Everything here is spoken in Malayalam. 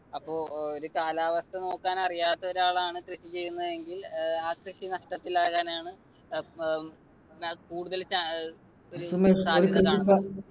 അപ്പൊ കാലാവസ്ഥ നോക്കാൻ അറിയാത്ത ഒരാളാണ് കൃഷി ചെയ്യുന്നതെങ്കിൽ ഏർ ആ കൃഷി നഷ്ടത്തിൽ ആകാനാണ് കൂടുതൽ അഹ് സാധ്യത കാണുന്നത്.